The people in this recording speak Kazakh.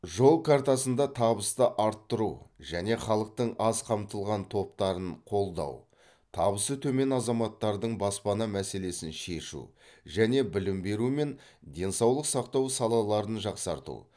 жол картасында табысты арттыру және халықтың аз қамтылған топтарын қолдау табысы төмен азаматтардың баспана мәселесін шешу және білім беру мен денсаулық сақтау салаларын жақсарту